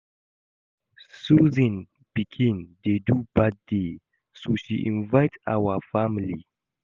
Susan pikin dey do birthday so she invite our family